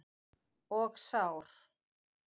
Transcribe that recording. Og sár.